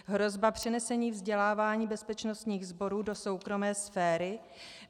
Hrozba přenesení vzdělávání bezpečnostních sborů do soukromé sféry?